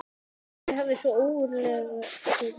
Aldrei hafði svo ógurlegur maður sést í þessum bæ.